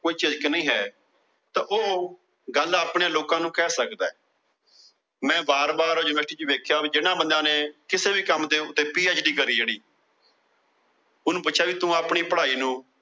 ਕੋਈ ਝਿਜਕ ਨਹੀਂ ਹੈ। ਤਾਂ ਉਹ ਗੱਲ ਲੋਕਾਂ ਨੂੰ ਕਹਿ ਸਕਦਾ। ਮੈ ਬਾਰ ਬਾਰ University ਚ ਦੇਖਿਆ ਵੀ ਜਿਨ੍ਹਾਂ ਬੰਦਿਆ ਨੇ ਕਿਸੇ ਵੀ ਕੰਮ ਦੇ ਉੱਤੇ PhD ਜਿਹੜੀ। ਉਹਨੂੰ ਪੁੱਛਿਆ ਵੀ ਤੂੰ ਆਪਣੀ ਪੜਾਈ ਨੂੰ।